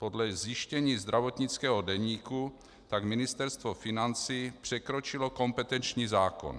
Podle zjištění zdravotnického deníku tak Ministerstvo financí překročilo kompetenční zákon.